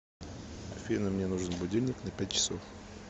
афина мне нужен будильник на пять часов